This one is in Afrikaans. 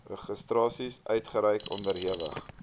registrasies uitreik onderhewig